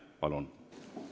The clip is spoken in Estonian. Palun!